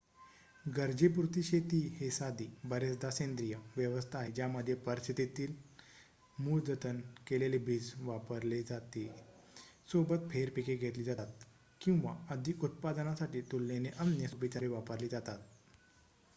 गरजेपुरती शेती हे साधी बरेचदा सेंद्रिय व्यवस्था आहे ज्यामध्ये परिस्थितीतीत मूळ जतन केलेले बीज वापरले जाते सोबत फेर पिके घेतली जातात किंवा अधिक उत्पादनासाठी तुलनेने अन्य सोपी तंत्रे वापरली जातात